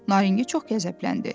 Naringi çox qəzəbləndi.